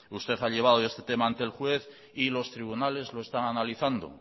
usted ha llevado este tema ante el juez y los tribunales lo están analizando